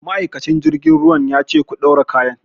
Ma'aikacin jirgin ruwan ya ce 'Ku ɗaura kayan'!